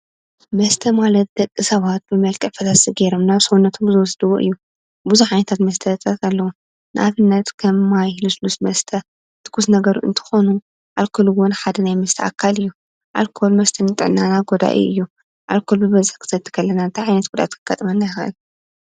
መስተ ማለት ደቂ ሰባት ብመልክዕ ፈሳሲ ገይሮም ናብ ሰዉነቶም ዝወስድዎ እዩ፤ ብዙሕ ዓይነታት መስተታት ኣለዉ። ንኣብነት ከም ማይ፣ ልስሉስ መሰተ፣ ትኩስ ነገር እንትኾኑ ኣልኮል እዉን ሓደ ናይ መስተ ኣካል እዩ። ኣልኮል መስተ ንጥዕናና ጎዳኢ እዩ። አልኮል ብበዝሒ ክንሰቲ ከለና እንታይ ዓይነት ጉድኣት ከጋጥመና ይክእል?